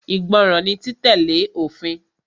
Ìgbọràn ni títẹ̀lé òfin.